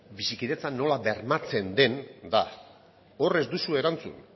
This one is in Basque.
bizikidetza nola bermatzen den da hor ez duzue erantzun